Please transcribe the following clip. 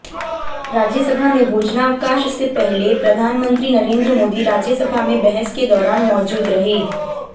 राज्यसभा में भोजनावकाश से पहले प्रधानमंत्री नरेंद्र मोदी राज्यसभा में बहस के दौरान मौजूद रहे